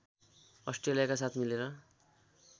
अस्ट्रेलियाका साथ मिलेर